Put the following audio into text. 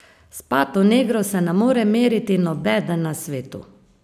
S pato negro se ne more meriti nobeden na svetu!